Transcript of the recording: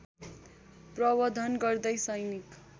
प्रवर्द्धन गर्दै सैनिक